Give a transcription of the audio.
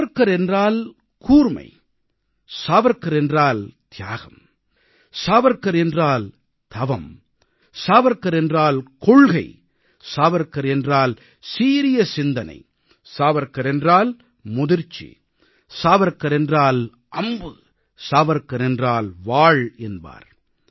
சாவர்க்கார் என்றால் கூர்மை சாவர்க்கார் என்றால் தியாகம் சாவர்க்கார் என்றால் தவம் சாவர்க்கார் என்றால் கொள்கை சாவர்க்கார் என்றால் சீரிய சிந்தனை சாவர்க்கார் என்றால் முதிர்ச்சி சாவர்க்கார் என்றால் அம்பு சாவர்க்கார் என்றால் வாள் என்பார்